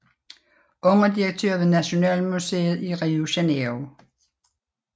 Underdirektør ved Nationalmuseet i Rio Janeiro